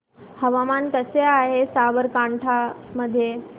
हवामान कसे आहे साबरकांठा मध्ये